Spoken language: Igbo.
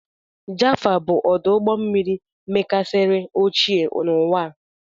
Jaffa bụ ọdụ ụgbọ mmiri mekarisiri ochie n'ụwa a.